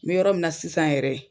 N bɛ yɔrɔ min na sisan yɛrɛ